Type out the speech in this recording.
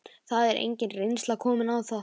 Það er engin reynsla komin á það.